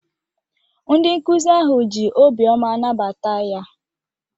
Ndị nkụzi ahụ ji obioma nabata ya.